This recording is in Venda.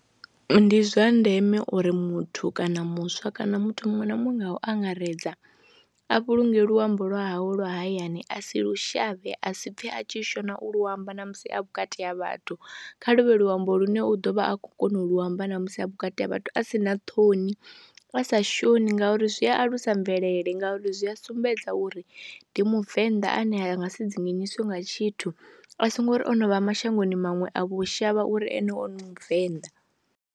Ndi zwa ndeme uri muthu kana muswa kana muthu muṅwe na muṅwe nga u angaredza a vhulunge luambo lwa hawe lwa hayani a si lu shavhe, a si pfhe a tshi shona u lu amba na musi a vhukati ha vhathu kha lu vhe luambo lune u ḓo vha a khou kona u lu amba na musi a vhukati ha vhathu a si na ṱhoni, a sa shoni ngauri zwi alusa mvelele ngauri zwi a sumbedza uri ndi muvenḓa ane a nga si dzinginyiswe nga tshithu a songo ri o no vha mashangoni maṅwe a vho shavha uri ane u muvenḓa.